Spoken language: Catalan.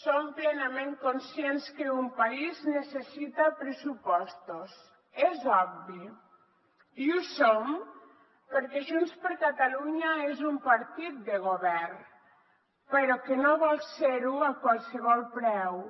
som plenament conscients que un país necessita pressupostos és obvi i ho som perquè junts per catalunya és un partit de govern però que no vol ser ho a qualsevol preu